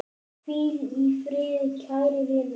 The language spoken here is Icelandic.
Hvíl í friði, kæri vinur.